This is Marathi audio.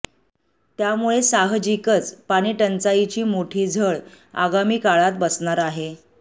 त्यामुळे साहजिकच पाणीटंचाईची मोठी झळ आगामी काळात बसणार आहे